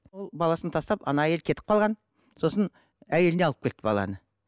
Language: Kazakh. баласын тастап ана әйел кетіп қалған сосын әйеліне алып кетті баланы